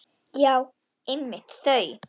Já, einmitt þau!